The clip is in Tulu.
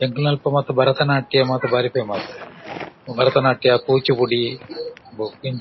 ಎಂಕ್‌ನಲ್ಪ ಮಾತ್ರ ಭರತನಾಟ್ಯ ಮಾತ ಬಾರಿ ಫೇಮಸ್‌ . ಭರತನಾಟ್ಯ ಕೂಚುಪುಡಿ ಬೊಕ್ಕ--